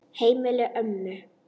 Heimili ömmu.